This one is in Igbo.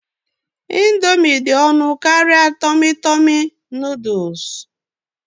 Ị̀ndómị́ dị ọnụ karịa Tọmi Tọmi Nụ́dúls